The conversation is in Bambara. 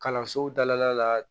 Kalansow dala la